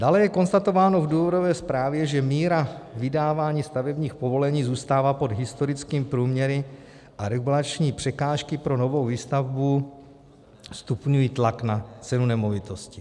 Dále je konstatováno v důvodové zprávě, že míra vydávání stavebních povolení zůstává pod historickým průměry a regulační překážky pro novou výstavbu stupňují tlak na cenu nemovitosti.